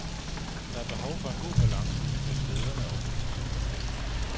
Der er behov for en god balance mellem lederne og oppositionen.